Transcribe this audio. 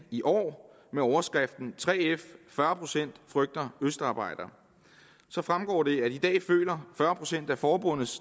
i år overskriften 3f fyrre procent frygter østarbejdere så fremgår det at i dag føler fyrre procent af forbundet